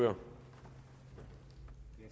herre